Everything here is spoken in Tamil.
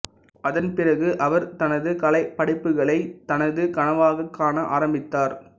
அதன் பிறகு அவர் தனது கலைப்படைப்புகளை தனது கனவாகக் காண ஆரம்பித்தார்